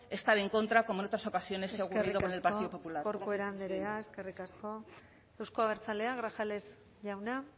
estar en contra como en otras ocasiones el partido popular eskerrik asko corcuera andrea euzko abertzaleak grajales jauna